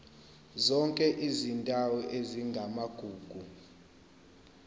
zonke izindawo ezingamagugu